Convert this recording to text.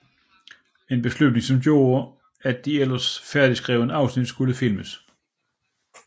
En beslutning som gjorde at de ellers færdigskrevet afsnit skulle filmes